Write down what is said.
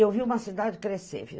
Eu vi uma cidade crescer, viu?